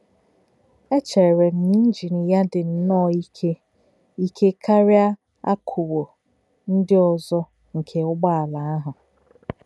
Échèrè̄ m̀ na ínjìn yā dí̄ nnọ́ọ̄ íké íké kárìá̄ àkúkwò̄ ndí̄ òzò̄ nkè̄ ǔgbọ̀álá̄ àhụ̄.